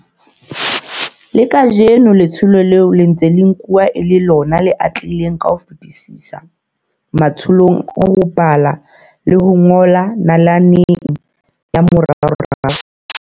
Le kajeno letsholo leo le ntse le nkuwa e le lona le atlehileng ka ho fetisisa matsholong a ho bala le ho ngola nalaneng ya moraorao.